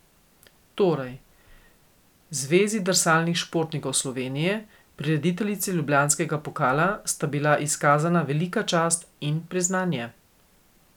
Torej, Zvezi drsalnih športov Slovenije, prirediteljici Ljubljanskega pokala, sta bila izkazana velika čast in priznanje.